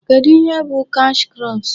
Kedụ ihe bụ cash crops?